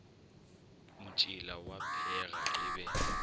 motšila wa pheega e be